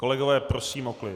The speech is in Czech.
Kolegové, prosím o klid.